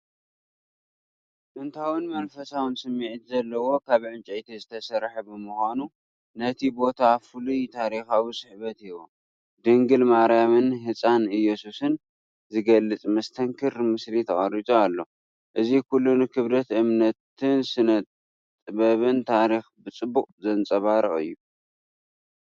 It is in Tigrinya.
ጥንታውን መንፈሳውን ስምዒት ዘለዎ ካብ ዕንጨይቲ ዝተሰርሐ ብምኳኑ ነቲ ቦታ ፍሉይ ታሪኻዊ ስሕበት ይህቦ። ድንግል ማርያምን ህጻን ኢየሱስን ዝገልጽ መስተንክር ምስሊ ተቐሪጹ ኣሎ፣ እዚ ኩሉ ንክብደት እምነትን ስነጥበብን ታሪኽን ብጽቡቕ ዘንጸባርቕ እዩ፡፡